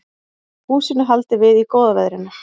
Húsinu haldið við í góða veðrinu